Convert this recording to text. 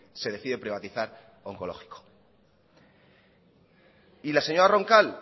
se decide privatizar oncológico y la señora roncal